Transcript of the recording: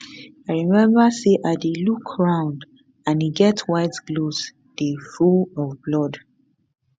i remember say i dey look round and e get white gloves dey full of blood